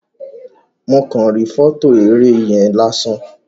Mo kan ri fọto eré yen lásán.